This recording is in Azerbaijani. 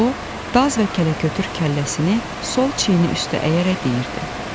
O, daz və kələkötür kəlləsini sol çiyini üstə əyərək deyirdi: